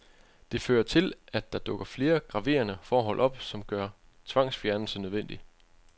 Det fører til, at der dukker flere graverende forhold op, som gør tvangsfjernelse nødvendig.